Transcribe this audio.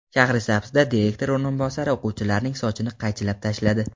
Shahrisabzda direktor o‘rinbosari o‘quvchilarning sochini qaychilab tashladi.